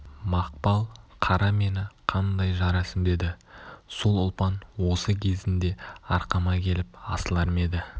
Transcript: мақпал-қара меңі қандай жарасымды еді сол ұлпан осы кезінде арқама келіп асылар ма еді